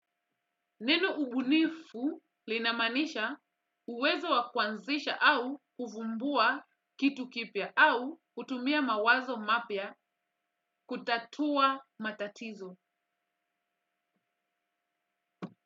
Neno ubunifu linamaanisha uwezo wa kuanzisha au kuvumbua kitu kipya au kutumia mawazo mapya kutatua matatizo.